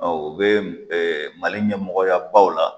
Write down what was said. Ɔ u bɛ Mali ɲɛmɔgɔya baw la.